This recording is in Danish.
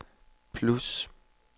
plus